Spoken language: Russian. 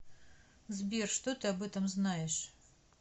сбер что ты об этом знаешь